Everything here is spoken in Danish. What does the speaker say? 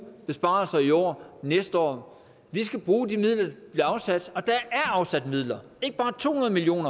besparelser i år næste år vi skal bruge de midler der bliver afsat og der er afsat midler ikke bare to hundrede million